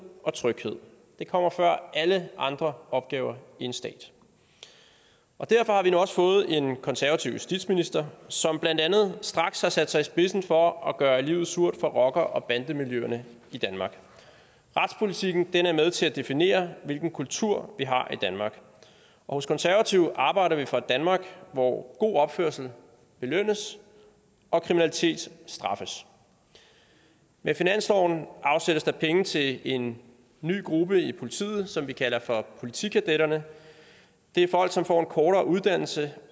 og tryghed det kommer før alle andre opgaver i en stat derfor har vi nu også fået en ny konservativ justitsminister som blandt andet straks har sat sig i spidsen for at gøre livet surt for rocker og bandemiljøerne i danmark retspolitikken er med til at definere hvilken kultur vi har i danmark og hos konservative arbejder vi for et danmark hvor god opførsel belønnes og kriminalitet straffes med finansloven afsættes der penge til en ny gruppe i politiet som vi kalder for politikadetterne det er folk som får en kortere uddannelse